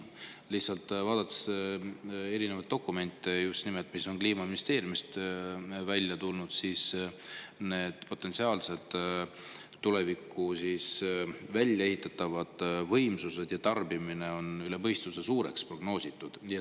Aga lihtsalt vaadates erinevaid dokumente, mis just nimelt Kliimaministeeriumist on välja tulnud, need potentsiaalsed tulevikus väljaehitatavad võimsused ja tarbimine on üle mõistuse suureks prognoositud.